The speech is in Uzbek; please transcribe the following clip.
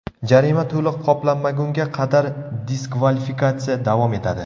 Jarima to‘liq qoplanmagunga qadar diskvalifikatsiya davom etadi.